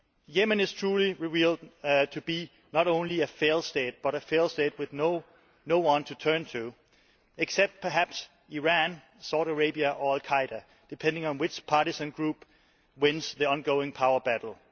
Yemen is truly revealed to be not only a failed state, but a failed state with no one to turn to except perhaps Iran, Saudi Arabia or Al Qaeda, depending on which partisan group wins the ongoing power battle.